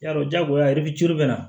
Yarɔ jagoya i bɛ coron na